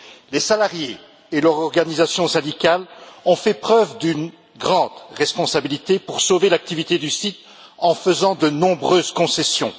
Les salariés et leur organisation syndicale ont fait preuve d'une grande responsabilité pour sauver l'activité du site en faisant de nombreuses concessions.